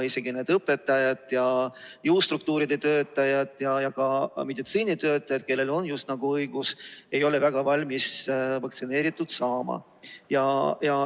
Isegi õpetajad, jõustruktuuride töötajad ja ka meditsiinitöötajad, kellel on õigus, ei ole väga valmis end vaktsineerima.